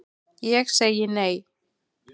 Ég segi nei,